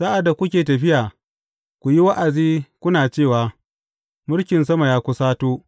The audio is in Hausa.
Sa’ad da kuke tafiya, ku yi wa’azi, kuna cewa, Mulkin sama ya kusato.’